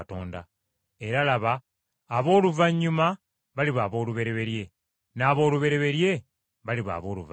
Era laba, abooluvannyuma baliba aboolubereberye, n’aboolubereberye baliba abooluvannyuma.”